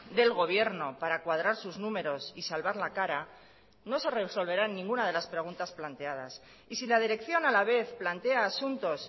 del gobierno para cuadrar sus números y salvar la cara no se resolverán ninguna de las preguntas planteadas y si la dirección a la vez plantea asuntos